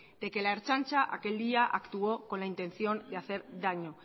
de que la ertzaintza aquel día actuó con la intención de hacer daño